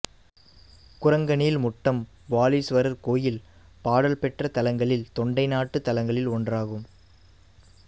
குரங்கணில்முட்டம் வாலீஸ்வரர் கோயில் பாடல் பெற்ற தலங்களில் தொண்டை நாட்டுத் தலங்களில் ஒன்றாகும்